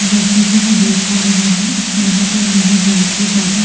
जैसा की मैं देख पा रही हूँ यहाँ पे मुझे बहुत ही ज्यादा --